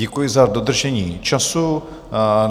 Děkuji za dodržení času.